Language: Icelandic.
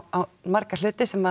marga hluti sem